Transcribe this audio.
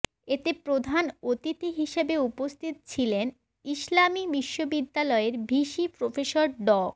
এতে প্রধান অতিথি হিসাবে উপস্থিত ছিলেন ইসলামী বিশ্ববদ্যালয়ের ভিসি প্রফেসর ড